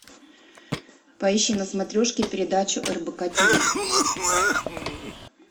поищи на смотрешке передачу рбк ти ви